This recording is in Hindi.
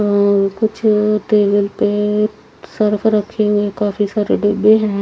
और कुछ टेबल पे रखे हुए काफी सारे डिब्बे हैं।